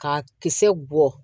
K'a kisɛ bɔ